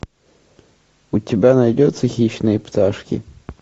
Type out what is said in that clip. у тебя найдется хищные пташки